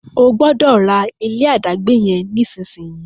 O gbódò rà ilé adagbe yen nísìsiyìí!